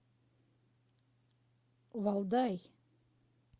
валдай